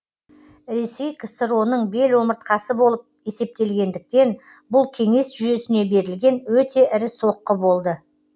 ресей ксро ң бел омыртқасы болып есептелгендіктен бұл кеңес жүйесіне берілген өте ірі соққы болды